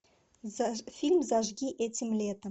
фильм зажги этим летом